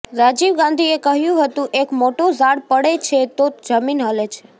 રાજીવ ગાંધીએ કહ્યું હતું એક મોટો ઝાડ પડે છે તો જમીન હલે છે